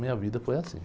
Minha vida foi assim.